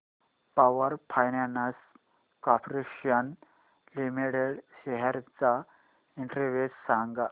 power finance corporation limited shares चा index सांगा